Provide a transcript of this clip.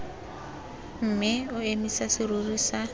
mme o emise serori sa